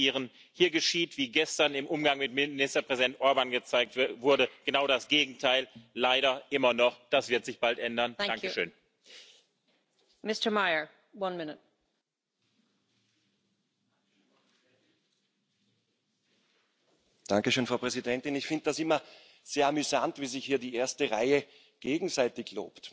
Wydaje mi się, że możemy dużo jeszcze zrobić przez te pozostałe dziewięć miesięcy, by werdykt europejskiego suwerena 2019 był głosem zaufania, a nie wotum nieufności, by był zbieżny z optymistyczną diagnozą przewodniczącego Junckera, któremu w imieniu polskiej delegacji serdecznie dziękuję za służbę zjednoczonej Europie.